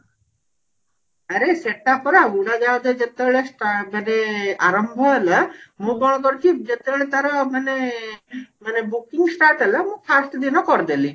ଆରେ ସେଟା ପରା ଉଡାଜାହାଜ ଯେତେବେଳେ ଷ୍ଟା ମାନେ ଆରମ୍ଭ ହେଲା ମୁଁ କଣ କରିଛି ଯେତେବେଳେ ତାର ମାନେ ମାନେ booking start ହେଲା ମୁଁ first ଦିନ କରିଦେଲି